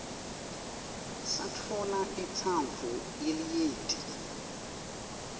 satfola intsandvo yelinyenti